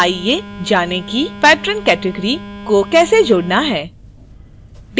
आइए जानें कि patron category को कैसे जोड़ना है